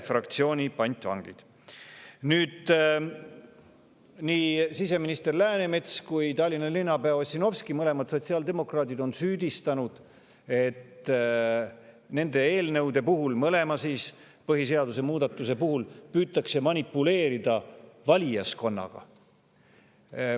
Nii siseminister Läänemets kui ka Tallinna linnapea Ossinovski – mõlemad on sotsiaaldemokraadid – on süüdistanud, et nende eelnõude puhul, põhiseaduse mõlema muutmise puhul, püütakse manipuleerida valijaskonnaga.